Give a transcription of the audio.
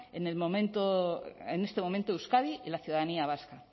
en este momento euskadi y la ciudadanía vasca